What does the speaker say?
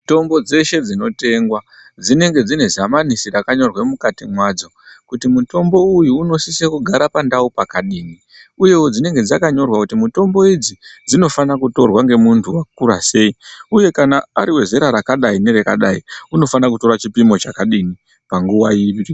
Mitombo dzeshe dzinotengwa dzinenge dzinezamanisi rakanyorwa mukati madzo kuti mitombo iyi inosisa kugara pakadii uye dzinonga dzakanyorwa kuti mitombo idzi dzinofana kutorwa ngemuntu akura sei uye kana ariwezera rakadayi nerakadyi unofano kutora chipimo chakadii panguwa iri.